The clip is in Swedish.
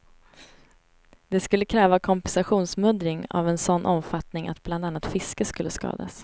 Det skulle kräva kompensationsmuddring av en sådan omfattning att bland annat fisket skulle skadas.